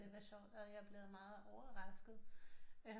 Det var sjovt og jeg er blevet meget overrasket